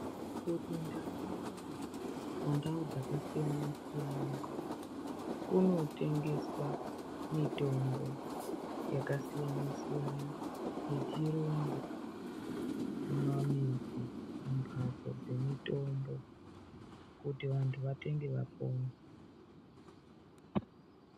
Kuti kundau kune ndau dzakasiyana siyana kunotengeswa mitombo dzakasiyana siyana yechirungu mumamizi mumhatso dzemutombo Kuti vantu vatenge vapone.